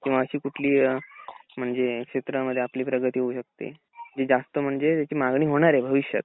किंवा अशी कुठली अ म्हणजे क्षेत्रामध्ये आपली प्रगती होऊ शकते जास्त म्हणजे ज्याची मागणी होणार आहे भविष्यात